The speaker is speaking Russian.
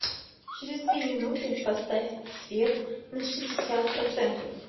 через две минуты поставь свет на шестьдесят процентов